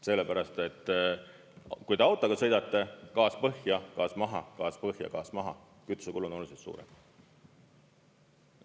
Sellepärast et kui te autoga sõidate, gaas põhja, gaas maha, gaas põhja, gaas maha – kütusekulu on oluliselt suurem.